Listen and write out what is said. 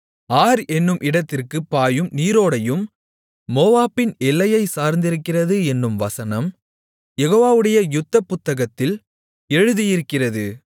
R என்னும் இடத்திற்குப் பாயும் நீரோடையும் மோவாபின் எல்லையைச் சார்ந்திருக்கிறது என்னும் வசனம் யெகோவாவுடைய யுத்த புத்தகத்தில் எழுதியிருக்கிறது